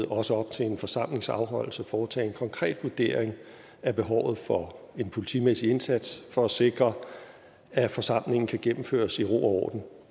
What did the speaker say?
også op til en forsamlings afholdelse foretage en konkret vurdering af behovet for en politimæssig indsats for at sikre at forsamlingen kan gennemføres i ro